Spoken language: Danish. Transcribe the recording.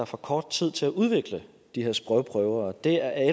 for kort tid til at udvikle de her sprogprøver og det er